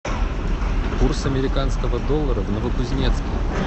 курс американского доллара в новокузнецке